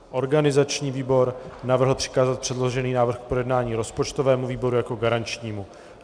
Organizační výbor navrhl přikázat předložený návrh k projednání rozpočtovému výboru jako garančnímu.